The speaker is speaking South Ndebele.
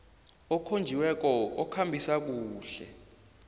okhonjiweko okhambisa kuhle